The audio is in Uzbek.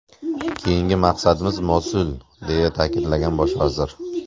Keyingi maqsadimiz Mosul”, deya ta’kidlagan bosh vazir.